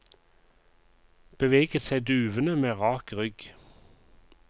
Beveget seg duvende med rak rygg.